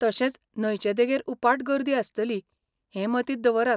तशेंच, न्हंयचे देगेर उपाट गर्दी आसतली हें मतींत दवरात.